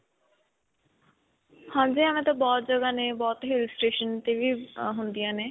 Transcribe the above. ਹਾਂਜੀ, ਐਵੇਂ ਤਾਂ ਬਹੁਤ ਜਗ੍ਹਾ ਨੇ ਬਹੁਤ hill station ਤੇ ਵੀ ਅਅ ਹੁੰਦੀਆ ਨੇ.